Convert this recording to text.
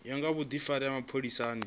ya nga vhudifari ha mapholisani